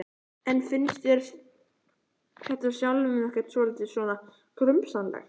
En finnst þér þetta sjálfum ekkert svolítið svona grunsamlegt?